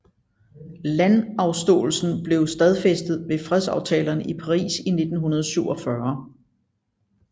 Landafståelsen blev stadfæstet ved fredsaftalerne i Paris 1947